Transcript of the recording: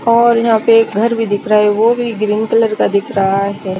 और यहाँ पे एक घर भी दिख रहा है वो भी ग्रीन कलर का दिख रहा है।